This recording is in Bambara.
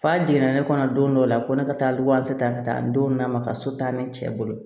F'a jiginna ne kɔnɔ don dɔ la ko ne ka taa libewase ta ka taa n don na ma ka so taa ne cɛ bolo